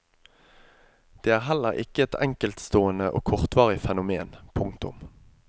Det er heller ikke et enkeltstående og kortvarig fenomen. punktum